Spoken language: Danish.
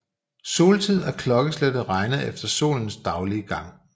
Soltid er klokkeslættet regnet efter solens daglige gang